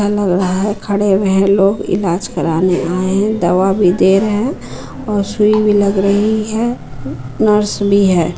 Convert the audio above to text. खड़े हुए हैं लोग इलाज कराने आए हैं दवा भी दे रहे हैं और सुई भी लग रही है नर्स भी है।